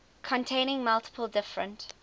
containing multiple different